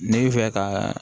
Ne bɛ fɛ ka